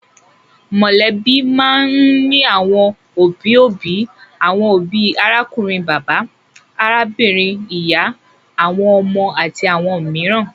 Mọ̀lẹ́bí máa ń ní àwọn òbí-òbí, àwọn òbí, arákùnrin bàbá, arábìnrin ìyá, àwọn ọmọ àti àwọn mìíràn.